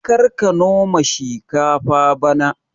karka noma shikafa bana